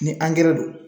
Ni angɛrɛ don